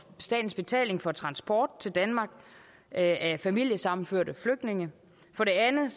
statens betaling for transport til danmark af familiesammenførte flygtninge for det andet